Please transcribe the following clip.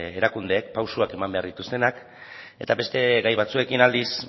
erakundeek pausuak eman behar dituztenak eta beste gai batzuekin aldiz